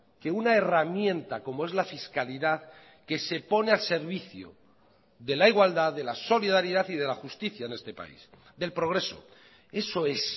que una herramienta como es la fiscalidad que se pone al servicio de la igualdad de la solidaridad y de la justicia en este país del progreso eso es